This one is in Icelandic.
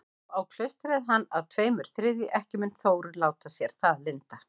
Þá á klaustrið hann að tveimur þriðju, ekki mun Þórunn láta sér það lynda.